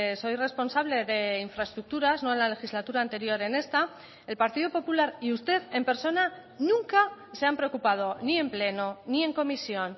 soy responsable de infraestructuras no en la legislatura anterior en esta el partido popular y usted en persona nunca se han preocupado ni en pleno ni en comisión